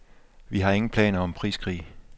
Vi har ingen planer om priskrig.